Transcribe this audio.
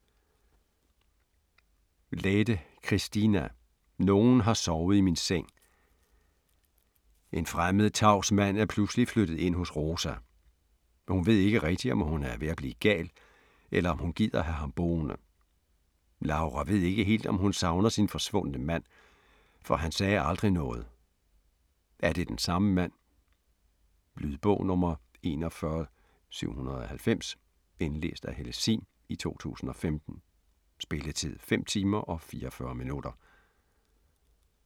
Lähde, Kristiina: Nogen har sovet i min seng En fremmed, tavs mand er pludselig flyttet ind hos Rosa. Hun ved ikke rigtig, om hun er ved at blive gal, eller om hun gider have ham boende. Laura ved ikke helt, om hun savner sin forsvundne mand, for han sagde aldrig noget. Er det den samme mand? Lydbog 41790 Indlæst af Helle Sihm, 2015. Spilletid: 5 timer, 44 minutter.